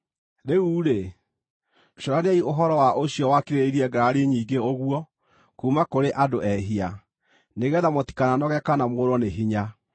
Rĩu-rĩ, cũraniai ũhoro wa ũcio wakirĩrĩirie ngarari nyingĩ ũguo kuuma kũrĩ andũ ehia, nĩgeetha mũtikananoge kana mũũrwo nĩ hinya.